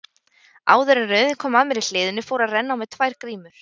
Áður en röðin kom að mér í hliðinu fóru að renna á mig tvær grímur.